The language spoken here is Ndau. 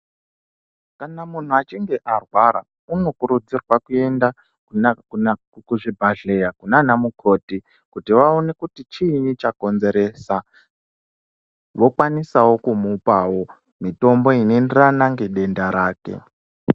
Kana munhu achinge arwara unokurudzirwa kuenda kuzvibhedhleya kunana mukoti kuti vaone kuti chiinyi chakonzeresa, vokwanisawo kumupawo mitombo inoenderana ngedenda rake.